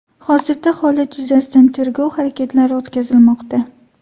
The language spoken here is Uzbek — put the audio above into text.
Hozirda holat yuzasidan tergov harakatlari o‘tkazilmoqda.